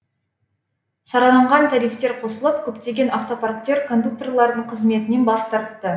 сараланған тарифтер қосылып көптеген автопарктер кондукторлардың қызметінен бас тартты